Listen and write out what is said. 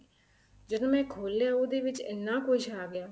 ਜਦੋਂ ਮੈਂ ਖੋਲਿਆ ਉਹਦੇ ਵਿੱਚ ਇੰਨਾ ਕੁੱਝ ਆ ਗਿਆ